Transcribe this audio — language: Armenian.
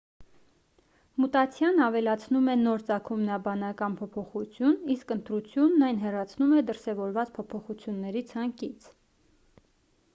մուտացիան ավելացնում է նոր ծագումնաբանական փոփոխություն իսկ ընտրությունն այն հեռացնում է դրսևորված փոփոխությունների ցանկից